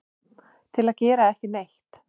til að gera ekki neitt